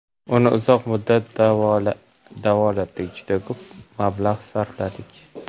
Uni uzoq muddat davolatdik, juda ko‘p mablag‘ sarfladik.